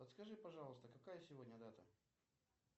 подскажи пожалуйста какая сегодня дата